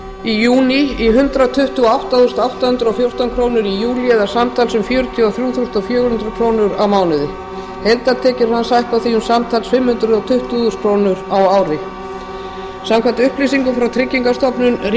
í júní í hundrað tuttugu og átta þúsund átta hundruð og fjórtán krónur í júlí eða samtals um fjörutíu og þrjú þúsund fjögur hundruð krónur á mánuði heildartekjur hans hækka því um samtals fimm hundruð tuttugu þúsund krónur á ári samkvæmt upplýsingum frá tryggingastofnun ríkisins